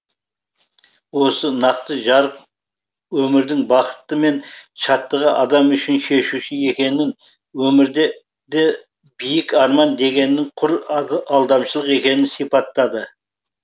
осы нақты жарық өмірдің бақыты мен шаттығы адам үшін шешуші екенін өмірден де биік арман дегеннің құр алдамшылық екенін сипаттады